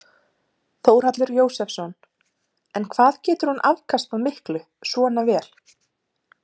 Þórhallur Jósefsson: En hvað getur hún afkastað miklu svona vél?